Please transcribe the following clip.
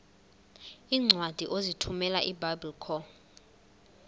iincwadi ozithumela ebiblecor